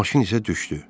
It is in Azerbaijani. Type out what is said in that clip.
Maşın isə düşdü.